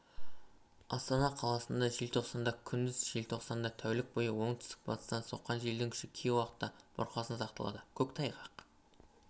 астана қаласында желтоқсанда күндіз желтоқсанда тәулік бойы оңтүстік-батыстан соққан желдің күші кей уақытта бұрқасын сақталады көктайғақ